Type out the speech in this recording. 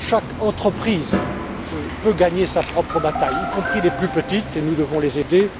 Chaque entreprise peut gagner sa propre bataille, y compris les plus petites et nous devons les aider.